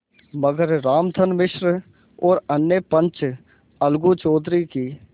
मगर रामधन मिश्र और अन्य पंच अलगू चौधरी की